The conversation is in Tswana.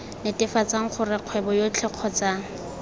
netefatsa gore kgwebo yotlhe kgotsa